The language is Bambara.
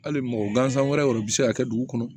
Hali mɔgɔ gansan wɛrɛ bɛ se ka kɛ dugu kɔnɔ